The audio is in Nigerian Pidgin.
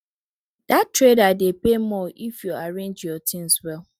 that trader dey pay more if you arrange your things well